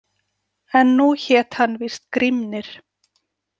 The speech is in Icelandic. En nú hét hann víst Grímnir.